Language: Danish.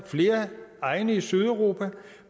flere egne i sydeuropa